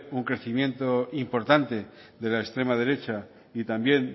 un crecimiento importante de la extrema derecha y también